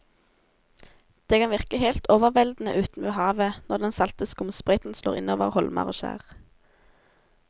Det kan virke helt overveldende ute ved havet når den salte skumsprøyten slår innover holmer og skjær.